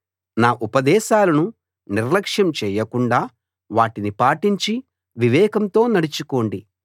నా ఉపదేశాలను నిర్యక్షం చేయకుండా వాటిని పాటించి వివేకంతో నడుచుకోండి